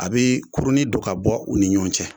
A be kuruni don ka bɔ u ni ɲɔgɔn cɛ